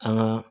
An ka